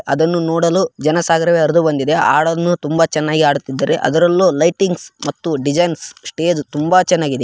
ಅದನ್ನು ನೋಡಲು ಜನ ಸಾಗರವೇ ಹರಿದು ಬಂದಿದೆ. ಹಾಡನ್ನು ತುಂಬಾ ಚೆನ್ನಾಗಿ ಹಾಡುತ್ತಿದ್ದಾರೆ. ಅದ್ರಲ್ಲೂ ಲೈಟಿಂಗ್ಸ್ ಮತ್ತು ಡಿಸೈನ್ಸ್ ಸ್ಟೇಜ್‌ ತುಂಬಾ ಚೆನ್ನಾಗಿದೆ.